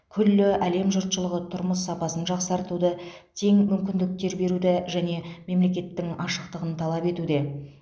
күллі әлем жұртшылығы тұрмыс сапасын жақсартуды тең мүмкіндіктер беруді және мемлекеттің ашықтығын талап етуде